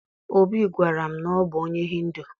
Obi gwara m na ọ bụ onye Hindu